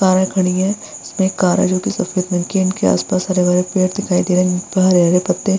कारें खड़ी है इसमें एक कार है जो की सफ़ेद रंग की है इनके आस-पास हरे-भरे पेड़ दिखाई दे रहे है जिन पर हरे-हरे पत्ते --